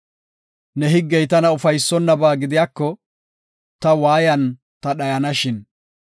Ne higgey tana ufaysonnaba gidiyako, ta waayan ta dhayanashin.